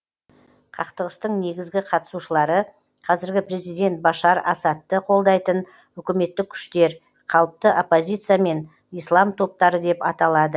қақтығыстың негізгі қатысушылары қазіргі президент башар асадты қолдайтын үкіметтік күштер қалыпты оппозиция мен ислам топтары деп аталады